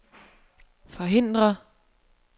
forhindre